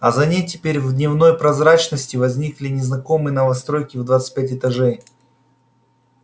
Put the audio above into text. а за ней теперь в дневной прозрачности возникли незнакомые новостройки в двадцать пять этажей